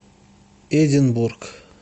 эдинбург